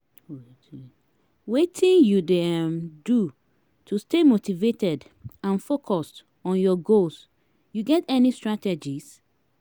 wetin you dey um do to stay motivated and focuesd on your goals you get any strategies?